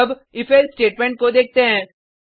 अब if else statement को देखते हैं